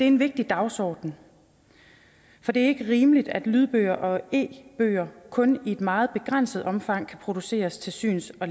en vigtig dagsorden for det er ikke rimeligt at lydbøger og e bøger kun i et meget begrænset omfang kan produceres til syns og